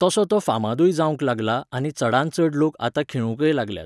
तसो तो फामादूय जावंक लागला आनी चडांत चड लोक आतां खेळूंकय लागल्यात